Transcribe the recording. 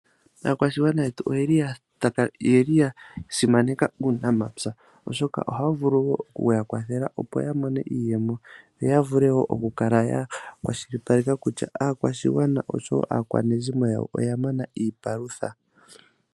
Aakwashigwana yetu oyeli ya simaneka uunamapya, oshoka ohawu vulu okuya kwathela opo ya mone iiyemo yo ya vule wo oku kala ya kwashilipaleka kutya aakwashigwana oshowo aakwanezimo yawo oya mona iipalutha.